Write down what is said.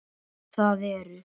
Það eru